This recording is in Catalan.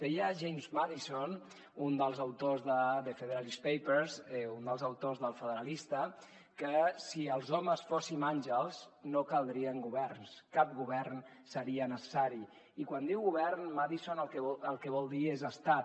deia james madison un dels autors de the federalist papers un dels autors d’el federalista que si els homes fóssim àngels no caldrien governs cap govern seria necessari i quan diu govern madison el que vol dir és estat